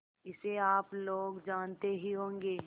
इसे आप लोग जानते ही होंगे